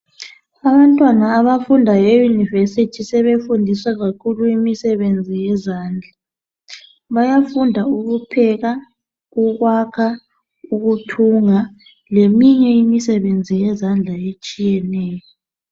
abantwana abafunda e university sebefundiswa kakhulu imisebenzi yezandla bayafunda ukupheka ukakha ukuthunga eminye imisebenzi yezandla etshiyeneyo